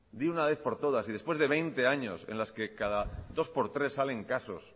de una vez por todas y después de veinte años en las cada dos por tres salen casos